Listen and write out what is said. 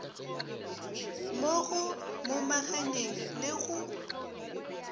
mo go momaganyeng le go